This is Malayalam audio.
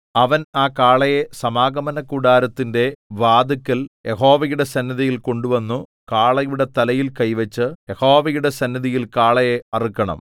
അവൻ ആ കാളയെ സമാഗമനകൂടാരത്തിന്റെ വാതില്ക്കൽ യഹോവയുടെ സന്നിധിയിൽ കൊണ്ടുവന്നു കാളയുടെ തലയിൽ കൈവച്ചു യഹോവയുടെ സന്നിധിയിൽ കാളയെ അറുക്കണം